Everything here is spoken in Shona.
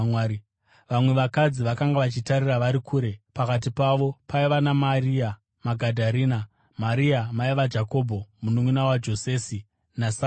Vamwe vakadzi vakanga vachitarira vari kure. Pakati pavo paiva naMaria Magadharena, Maria mai vaJakobho, mununʼuna waJosesi, naSarome.